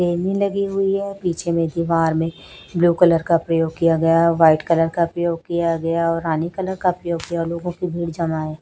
लगी हुई है पीछे में दीवार में ब्लू कलर का प्रयोग किया गया व्हाइट कलर का प्रयोग किया गया और रानी कलर का प्रयोग किया और लोगों की भीड़ जमा है।